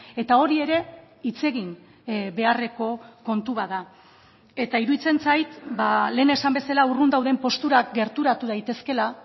eta hori ere hitz egin beharreko kontu bat da eta iruditzen zait lehen esan bezala urrun dauden posturak gerturatu daitezkela